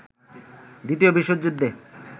দ্বিতীয় বিশ্বযুদ্ধে